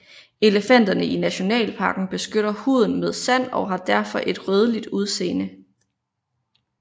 Elefanterne i nationalparken beskytter huden med sand og har derfor et rødligt udseende